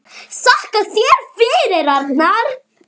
Þakka þér fyrir, Arnar.